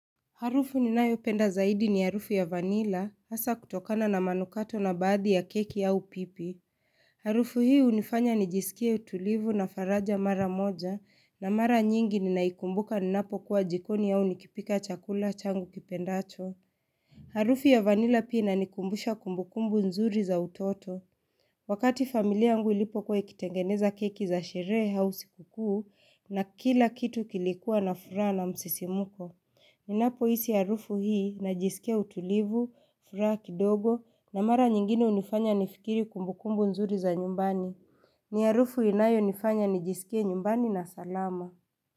Harufu ninayopenda zaidi ni harufu ya vanila, hasa kutokana na manukato na baadhi ya keki au pipi. Harufu hii hunifanya nijisikie utulivu na faraja mara moja, na mara nyingi ninaikumbuka ninapokuwa jikoni au nikipika chakula changu kipendacho. Harufu ya vanila pina nikumbusha kumbukumbu nzuri za utoto. Wakati familia yangu ilipokuwa ikitengeneza keki za sherehe au siku kuu na kila kitu kilikuwa na furaha na msisimko. Ninapohisi harufu hii, najisikia utulivu, furaha kidogo na mara nyingine hunifanya nifikiri kumbukumbu nzuri za nyumbani. Ni harufu inayonifanya nijisikie nyumbani na salama.